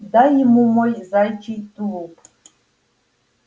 дай ему мой заячий тулуп